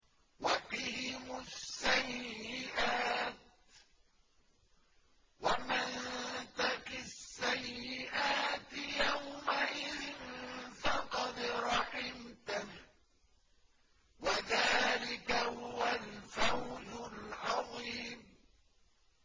وَقِهِمُ السَّيِّئَاتِ ۚ وَمَن تَقِ السَّيِّئَاتِ يَوْمَئِذٍ فَقَدْ رَحِمْتَهُ ۚ وَذَٰلِكَ هُوَ الْفَوْزُ الْعَظِيمُ